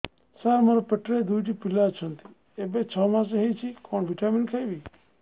ସାର ମୋର ପେଟରେ ଦୁଇଟି ପିଲା ଅଛନ୍ତି ଏବେ ଛଅ ମାସ ହେଇଛି କଣ ଭିଟାମିନ ଖାଇବି